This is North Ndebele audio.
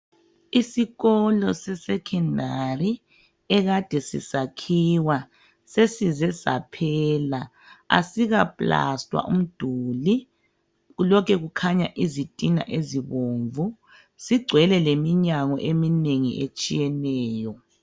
Isikolo sesecondary akade sisakhiwa sesize saphela asikaplastwa umduli lokhe kukhanya izitina ezibomvu singcwele leminyango eminengi etshiyeneyo.